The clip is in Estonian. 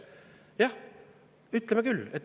Jah, ütleme küll!